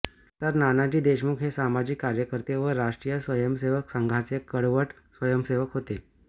तर नानाजी देशमुख हे सामाजिक कार्यकर्ते व राष्ट्रीय स्वयंसेवक संघाचे कडवट स्वयंसेवक होते